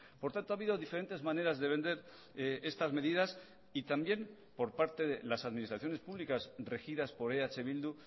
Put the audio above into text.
por tanto ha habido diferentes maneras de vender estas medidas y también por parte de las administraciones públicas regidas por eh bildu